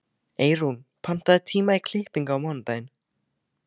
Eyrún, pantaðu tíma í klippingu á mánudaginn.